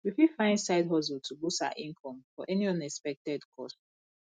we fit find side hustle to boost our income for any unexpected cost